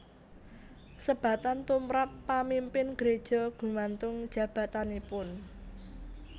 Sebatan tumrap pamimpin greja gumantung jabatanipun